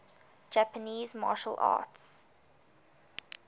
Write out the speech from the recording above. japanese martial arts